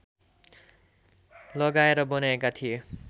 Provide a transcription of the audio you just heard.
लगाएर बनाएका थिए